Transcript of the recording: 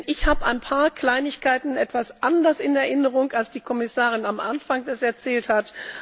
Ich habe ein paar Kleinigkeiten etwas anders in Erinnerung, als die Kommissarin das am Anfang erzählt hat.